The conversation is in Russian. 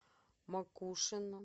макушино